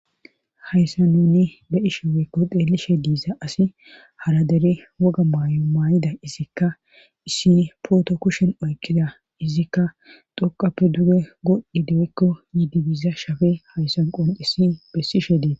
Hayssa nuni beyishe woykko deelishe diisa asi haradere woga maayo maayida izikka issi pooto kushen oykkida izikka doqappe duge godhdi deykko yiidibiza shafe hayssan qoncisi bessishe deeta.